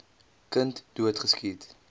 kind dood geskiet